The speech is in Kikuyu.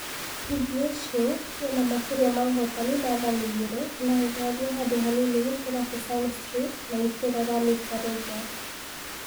PBS Show ĩna makĩria ma ũhotani dathani igĩrĩ, na ĩgathiĩ handũ hanini gũkĩra Sesame Street na itũra rĩa Mister Rogers'